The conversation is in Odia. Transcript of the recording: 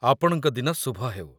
ଆପଣଙ୍କ ଦିନ ଶୁଭ ହେଉ।